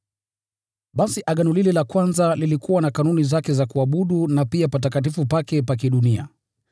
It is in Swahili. Basi agano lile la kwanza lilikuwa na kanuni zake za kuabudu na pia patakatifu pake pa kidunia.